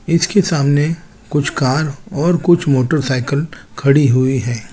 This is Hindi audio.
इसके सामने कुछ कार और कुछ मोटरसाइकिल खड़ी हुई हैं।